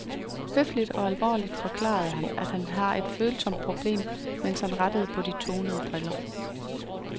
Høfligt og alvorligt forklarer han, at han har et følsomt problem, mens han retter på de tonede briller.